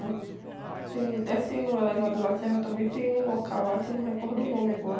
tem, descendo o elevador, lá também tem um local lá que eu não recordo o nome agora.